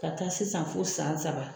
Ka taa sisan fo san saba.